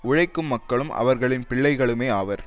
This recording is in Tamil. உழைக்கும் மக்களும் அவர்களின் பிள்ளைகளுமே ஆவர்